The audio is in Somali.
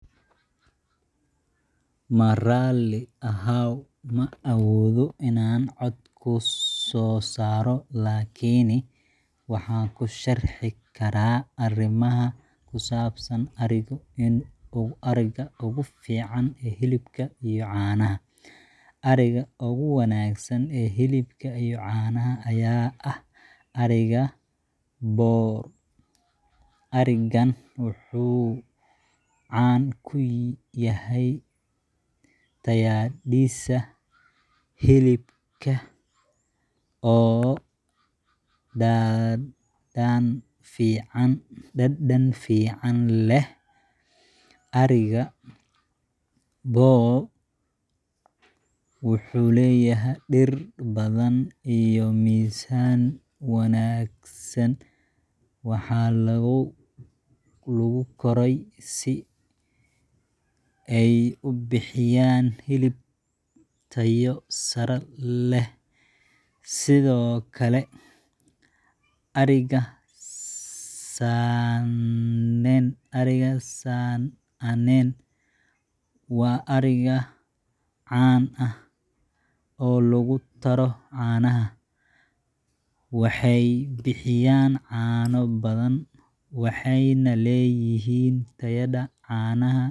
Marali aahaw maawodho inan cood kusosaro lakiini waxan kusharxi kara arimaha kusab san ariga in uu ariga ugu fican ee hilibka iyo canaha ariga ugu wanagsan ee hilibka iyo canaha eeh arigan wuxu can kuyahy tayadhisa hilibka Oo dadan fican leh ariga wuxu leyahy dir badhan iyo mizan wanagsan waxa lagu korey eey ubixi yan hilib tayo sare leh sidho kale san anen wa ariga ah can ah olugu taro canaha waxey bixiyan cano badhan waxeyna leyihin tayo